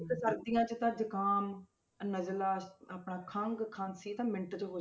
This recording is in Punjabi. ਇੱਕ ਸਰਦੀਆਂ 'ਚ ਤਾਂ ਜੁਕਾਮ ਅਹ ਨਜ਼ਲਾਂ ਅਹ ਆਪਣਾ ਖੰਘ ਖ਼ਾਂਸੀ ਇਹ ਤਾਂ ਮਿੰਟ 'ਚ ਹੋ,